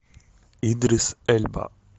идрис эльба